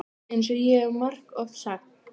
EINS OG ÉG HEF MARGOFT SAGT.